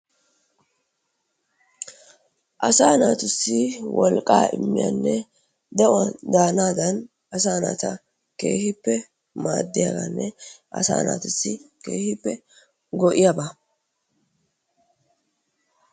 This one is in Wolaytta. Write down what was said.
Asaa natusii wolqaa imiyanne de'uawni danadan asa nata madiyabanne asa nata kehippe go'iyabbaa.